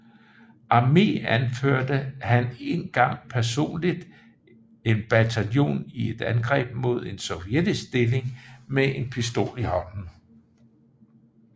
Armé anførte han en gang personligt en bataljon i et angreb mod en sovjetisk stilling med en pistol i hånden